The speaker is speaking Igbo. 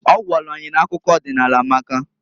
Ọ gwalụ anyị n'akụkọ ọdịnaala amaka.